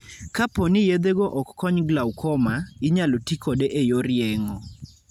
Kapo ni yedhego ok kony glaucoma, inyalo ti kode e yor yeng'o.